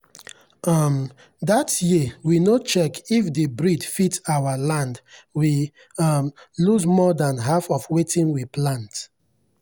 um that year we no check if the breed fit our land we um lose more than half of wetin we plant.